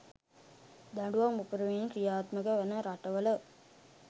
දඬුවම් උපරිමයෙන් ක්‍රියාත්මක වන රටවල